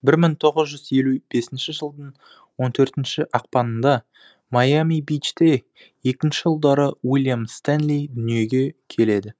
бір мың тоғыз жүз елу бесінші жылдың он төртінші ақпаныңда майами бичте екінші ұлдары уильям стэнли дүниеге келеді